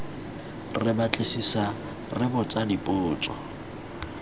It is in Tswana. re batlisisa re botsa dipotso